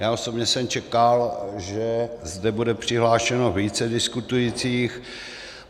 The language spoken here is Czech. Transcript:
Já osobně jsem čekal, že zde bude přihlášeno více diskutujících.